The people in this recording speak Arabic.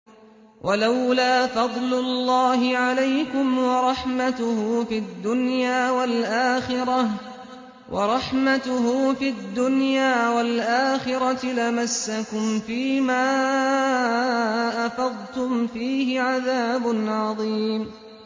وَلَوْلَا فَضْلُ اللَّهِ عَلَيْكُمْ وَرَحْمَتُهُ فِي الدُّنْيَا وَالْآخِرَةِ لَمَسَّكُمْ فِي مَا أَفَضْتُمْ فِيهِ عَذَابٌ عَظِيمٌ